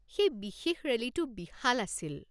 সেই বিশেষ ৰেলীটো বিশাল আছিল।